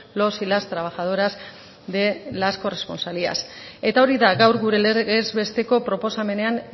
los y las trabajadoras de las corresponsalías eta hori da gaur gure legez besteko proposamenean